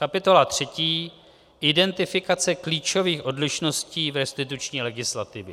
Kapitola 3 - Identifikace klíčových odlišností v restituční legislativě